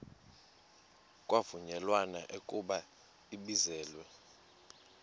kwavunyelwana ekubeni ibizelwe